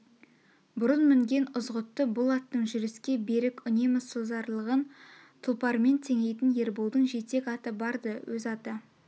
бұрын мінген ызғұтты бұл аттың жүріске берік үнемі созарлығын тұлпармен теңейтін ерболдың жетек аты бар-ды өз аты